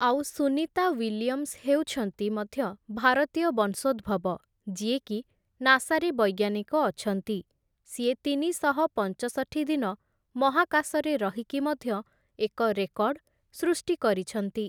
ଆଉ ସୁନୀତା ୱିଲିୟମ୍ସ ହେଉଛନ୍ତି ମଧ୍ୟ ଭାରତୀୟ ବଂଶୋଦ୍ଭବ ଯିଏକି ନାସାରେ ବୈଜ୍ଞାନିକ ଅଛନ୍ତି । ସିଏ ତିନିଶହ ପଞ୍ଚଷଠି ଦିନ ମହାକାଶରେ ରହିକି ମଧ୍ୟ ଏକ ରେକର୍ଡ଼ ସୃଷ୍ଟି କରିଛନ୍ତି ।